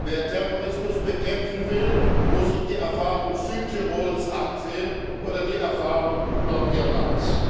Wer Terrorismus bekämpfen will, muss sich die Erfahrung Südtirols ansehen oder die Erfahrung Nordirlands.